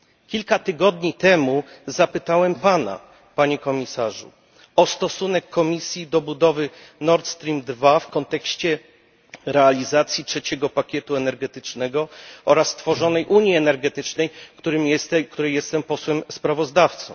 Kilka tygodni temu zapytałem Pana, Panie Komisarzu, o stosunek Komisji do budowy Nord Stream II w kontekście realizacji III pakietu energetycznego oraz tworzonej unii energetycznej, której jestem posłem sprawozdawcą.